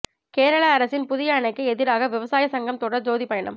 கேரள அரசின் புதிய அணைக்கு எதிராக விவசாய சங்கம் தொடர் ஜோதி பயணம்